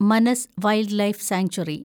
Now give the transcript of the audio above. മനസ് wildlife sanctuary